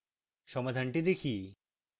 সমাধানটি দেখি